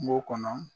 Kungo kɔnɔ